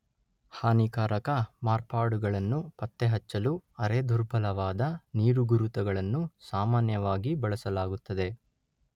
ಹಾನಿಕಾರಕ ಮಾರ್ಪಾಡುಗಳನ್ನು ಪತ್ತೆಹಚ್ಚಲು ಅರೆ-ದುರ್ಬಲವಾದ ನೀರುಗುರುತುಗಳನ್ನು ಸಾಮಾನ್ಯವಾಗಿ ಬಳಸಲಾಗುತ್ತದೆ.